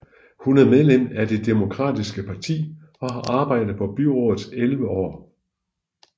Hun er medlem af det demokratiske parti og har arbejdet på byrådet elleve år